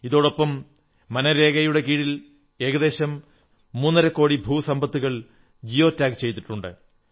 ഇതോടൊപ്പം മൻരേഗ യുടെ കീഴിൽ ഏകദേശം മൂന്നരക്കോടി ഭൂസമ്പത്തുകൾ ജിയോ ടാഗ് ചെയ്തിട്ടുണ്ട്